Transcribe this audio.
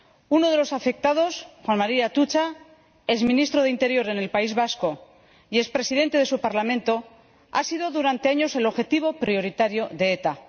Uno de los afectados, Juan María Atutxa, ex ministro del Interior del País Vasco y ex presidente de su Parlamento, ha sido durante años el objetivo prioritario de ETA.